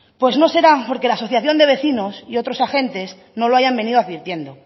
pues no será porque la asociación de vecinos y otros agentes no lo hayan venido advirtiendo